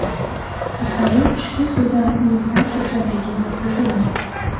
Aholi ushbu suvdan umidvor ekanligini bildirmoqda.